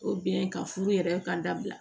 ka furu yɛrɛ ka dabila